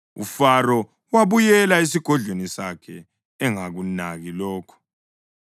UFaro wabuyela esigodlweni sakhe engakunaki lokho.